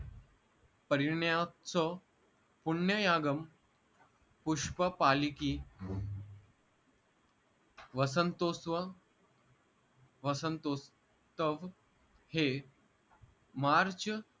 परीण्यत्सव पुण्ययागम पुष्पपालिकी वसंतोस्व वसंतोस्तव हे मार्च